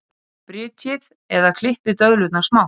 Brytjið eða klippið döðlurnar smátt.